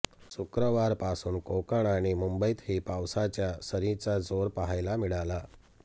शुक्रवारपासून कोकण आणि मुंबईतही पावसाच्या सरींचा जोर पाहायला मिळाला